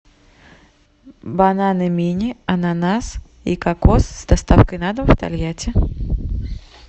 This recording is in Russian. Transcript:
бананы мини ананас и кокос с доставкой на дом в тольятти